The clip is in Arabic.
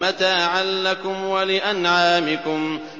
مَّتَاعًا لَّكُمْ وَلِأَنْعَامِكُمْ